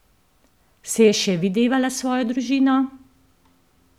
Se je še videvala s svojo družino?